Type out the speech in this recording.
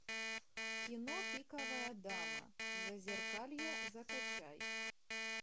кино пиковая дама зазеркалье закачай